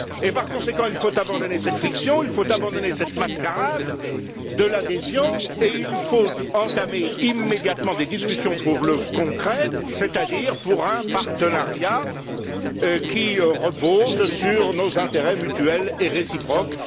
Il faut par conséquent abandonner cette fiction, il faut abandonner cette mascarade de l'adhésion et il faut entamer immédiatement des discussions pour le concret, c'est à dire pour un partenariat reposant sur nos intérêts mutuels et réciproques.